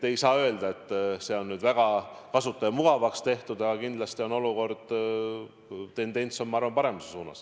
Ei saa öelda, et see oleks väga kasutajamugavaks tehtud, aga kindlasti on tendents, ma arvan, paremuse suunas.